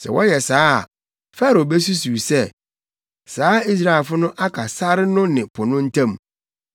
Sɛ wɔyɛ saa a, Farao besusuw sɛ, ‘Saa Israelfo no aka sare no ne po no ntam.’